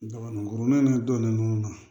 Kurun in donnen ninnu na